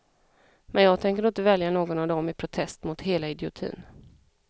Men jag tänker då inte välja någon av dem i protest mot hela idiotin.